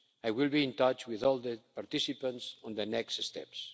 I will be in touch with all the participants on the next